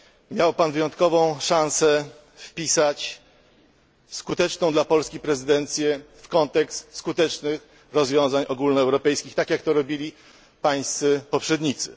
Miał Pan wyjątkową szansę wpisać skuteczną dla Polski prezydencję w kontekst skutecznych rozwiązań ogólnoeuropejskich, tak jak to robili Pańscy poprzednicy.